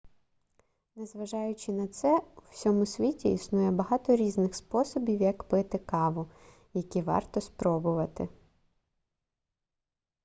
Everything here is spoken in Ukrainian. незважаючи на це у всьому світі існує багато різних способів як пити каву які варто спробувати